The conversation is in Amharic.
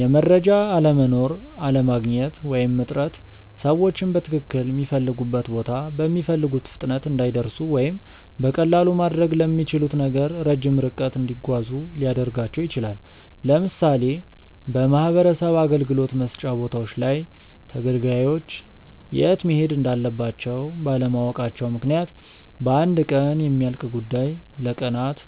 የመረጃ አለመኖር፣ አለማግኘት ወይም እጥረት ሰዎችን በትክልል ሚፈልጉበት ቦታ በሚፈልጉት ፍጥነት እንዳይደርሱ ወይም በቀላሉ ማድረግ ለሚችሉት ነገር ረጅም ርቀት እንዲጓዙ ሊያደርጋቸው ይችላል። ለምሳሌ በማህበረሰብ አገልግሎት መስጫ ቦታዎች ላይ ተገልጋዮች የት መሄድ እንዳለባቸው ባለማወቃቸው ምክንያት በአንድ ቀን የሚያልቅ ጉዳይ ለቀናት